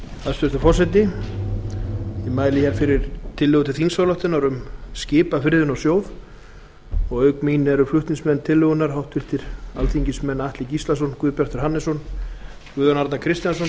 hæstvirtur forseti ég mæli fyrir tillögu til þingsályktunar um skipafriðun á sjó auk mín eru flutningsmenn tillögunnar háttvirtir þingmenn atli gíslason guðbjartur hannesson guðjón arnar kristjánsson